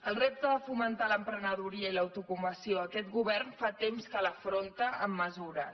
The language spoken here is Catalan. el repte de fomentar l’emprenedoria i l’autoocupació aquest govern fa temps que l’afronta amb mesures